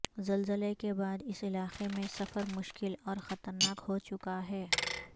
زلزلے کے بعداس علاقےمیں سفر مشکل اور خطرناک ہوچکا ہے